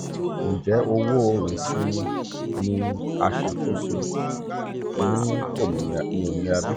three um njẹ owo iṣimi ni a ṣakoso ni um ominira bi?